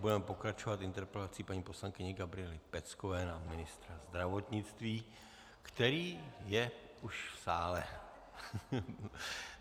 Budeme pokračovat interpelací paní poslankyně Gabriely Peckové na ministra zdravotnictví, který je už v sále.